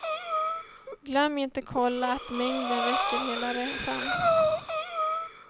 Glöm inte kolla att mängden räcker hela resan.